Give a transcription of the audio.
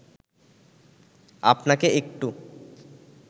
আপনাকে একটু